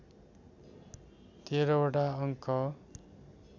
१३ वटा अङ्क